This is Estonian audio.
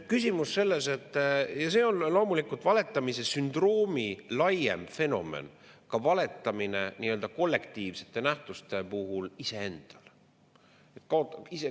See on loomulikult valetamise sündroomi laiem fenomen, ka valetamine – nii-öelda kollektiivsete nähtuste puhul – iseendale.